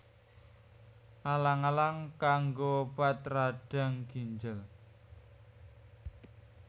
Alang alang kanggo obat radang ginjel